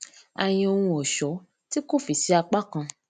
a yan ohun òṣó tí kò fì sí apá kan